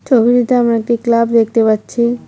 ছবিটিতে আমরা একটি ক্লাব দেখতে পাচ্ছি।